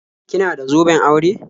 Kina da zoben aure?